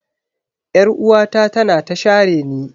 Yar'uwata tana ta shareni.